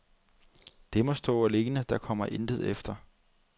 Det må stå alene, der kommer intet efter.